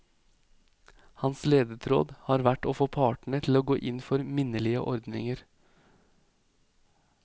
Hans ledetråd har vært å få partene til å gå inn for minnelige ordninger.